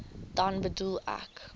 dan bedoel ek